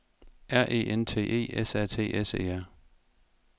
R E N T E S A T S E R